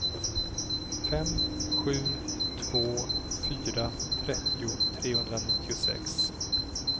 fem sju två fyra trettio trehundranittiosex